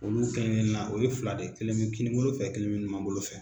Olu kɛlenkelenna, o ye fila de ye, kelen bɛ kininbolo fɛ, kelen bɛ numanbolo fɛ